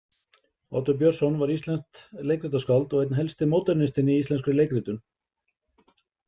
Oddur Björnsson var íslenskt leikritaskáld og einn helsti módernistinn í íslenskri leikritun.